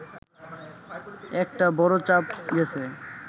একটা বড় চাপ গেছে